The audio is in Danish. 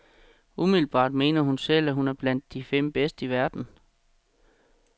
Umiddelbart mener hun selv, at hun er blandt de fem bedste i verden.